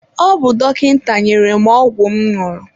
Ọ bụ dọkịta nyere m ọgwụ m ñụrụ.